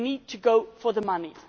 We need to go for the money.